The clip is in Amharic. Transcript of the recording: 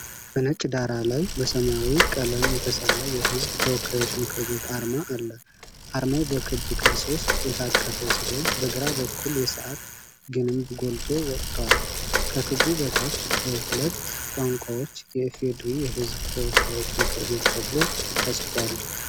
በነጭ ዳራ ላይ በሰማያዊ ቀለም የተሳለ የሕዝብ ተወካዮች ምክር ቤት አርማ አለ። አርማው በክብ ቅርጽ ውስጥ የታቀፈ ሲሆን፣ በግራ በኩል የሰዓት ግንብ ጎልቶ ወጥቷል። ከክቡ በታች በሁለት ቋንቋዎች “የ.ፌ.ዴ.ሪ የሕዝብ ተወካዮች ምክር ቤት ተብሎ ተጽፏል።